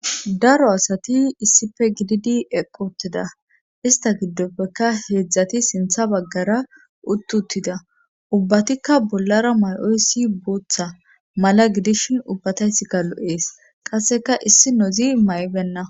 daro asati issife gididi eqoteda ista giddopfeka heedzdzati sintha baggara uttutida ubbatikka bollara may7oyssi booththa mala gidishin ubbataysikka lo7ees qasseka issinozi may7benna